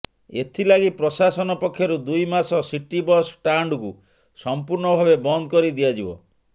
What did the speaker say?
ଏଥିଲାଗି ପ୍ରଶାସନ ପକ୍ଷରୁ ଦୁଇମାସ ସିଟି ବସ୍ ଷ୍ଟାଣ୍ଡକୁ ସମ୍ପୂର୍ଣ୍ଣ ଭାବେ ବନ୍ଦ କରି ଦିଆଯିବ